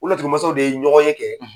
O laturu masaw de ye ɲɔgɔn ye kɛ